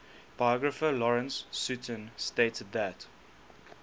biographer lawrence sutin stated that